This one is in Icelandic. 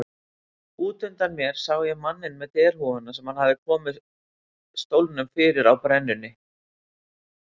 Út undan mér sá ég manninn með derhúfuna sem hafði komið stólnum fyrir á brennunni.